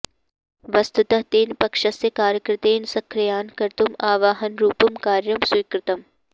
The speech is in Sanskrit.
वस्तुतः तेन पक्षस्य कार्यकर्तृन् सक्रियान् कर्तुम् आह्वानरूपं कार्यं स्वीकृतम्